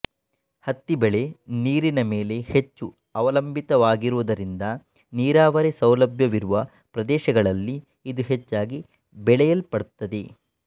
ಹತ್ತಿ ಬೆಳೆ ನೀರಿನ ಮೇಲೆ ಹೆಚ್ಚು ಅವಲಂಬಿತವಾಗಿರುವುದರಿಂದ ನೀರಾವರಿ ಸೌಲಭ್ಯವಿರುವ ಪ್ರದೇಶಗಳಲ್ಲಿ ಇದು ಹೆಚ್ಚಾಗಿ ಬೆಳೆಯಲ್ಪಡುತ್ತದೆ